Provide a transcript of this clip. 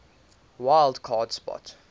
wild card spot